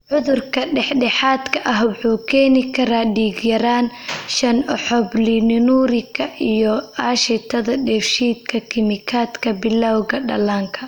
Cudurka dhexdhexaadka ah wuxuu keeni karaa dhiig-yaraan, shan oxoprolinurika, iyo aashitada dheef-shiid kiimikaadka bilawga dhallaanka.